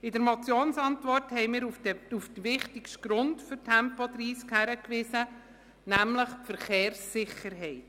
In der Motionsantwort haben wir auf den wichtigsten Grund für Tempo 30 hingewiesen, nämlich die Verkehrssicherheit.